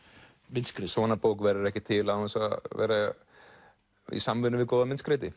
myndskreytum svona bók verður ekki til án þess að vera í samvinnu við góðan